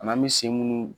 An'an bɛ sen munnu